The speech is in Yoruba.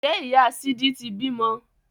Ǹjẹ́ ìyá sídí ti bímọ?